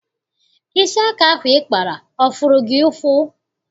Isi aka ahụ ị kpara ọ fụrụ gị ụfụ?